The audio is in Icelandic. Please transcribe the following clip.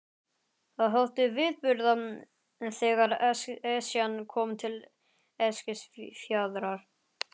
Það þótti viðburður þegar Esjan kom til Eskifjarðar.